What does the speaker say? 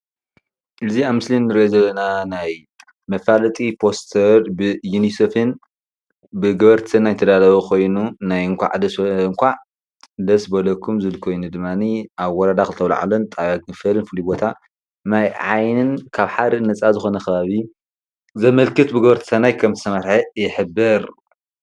እዚ ኣብ ምስሊ ንሪኦ ዘለና ናይ መፋለጢ ፖስተር ብዩኒሴፍን ብገበርቲ ሰናይን ዝተዳለወ ኮይኑ ናይ እንኳዕ ደስ በለኩም ዝብል ኮይኑ ድማኒ ኣብ ወረዳ ክልተ ኣዉላዕሎን ጣብያ ኢፎርን ፍሉይ ቦታ ማይ ዓይንን ካብ ሓደ ነፃ ዝኾነ ከባቢ ዘመልክት ብገበርቲ ሰናይ ከም ዝተመርሐ ይሕብር።